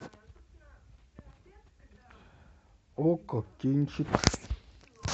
окко кинчик